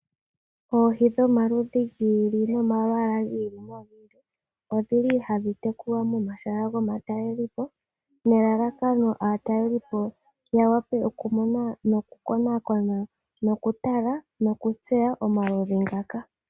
Oohi dhomaludhi gi ili nolwaala gi ili odhili hadhi tekulwa momashala gomatalelipo, nelalakano aatalelipo yawape okumona nokukonaakona nokutala nokutseya omaludhi ngaka.